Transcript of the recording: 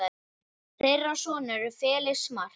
Þeirra sonur er Felix Mark.